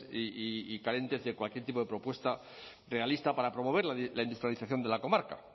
y carentes de cualquier tipo de propuesta realista para promover la industrialización de la comarca